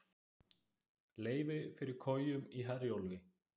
Leyfi fyrir kojum í Herjólfi